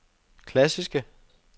klassiske